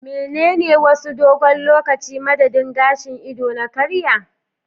Menene wasu dogon lokaci madadin gashin ido na karya?